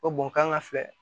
Ko bon kan ka filɛ